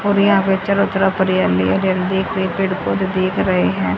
और यहां पे चारों तरफ हरियाली हरियाली पेड़ पौधे दिख रहे है।